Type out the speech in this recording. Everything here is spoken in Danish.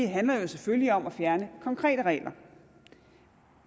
handler jo selvfølgelig om at fjerne konkrete regler